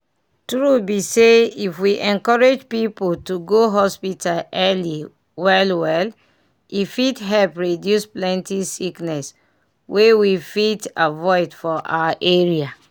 tru be say if we encourage people to go hospital early well-well e fit help reduce plenty sickness wey we fit avoid for our area.